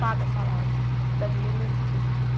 paga salário, dá dinheiro nesse sentido.